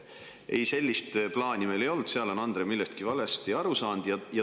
Ei, sellist plaani meil ei olnud, Andre on vist millestki valesti aru saanud.